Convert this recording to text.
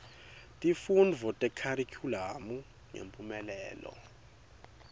tifundvo tekharikhulamu ngemphumelelo